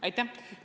Aitäh!